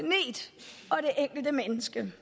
enkelte menneske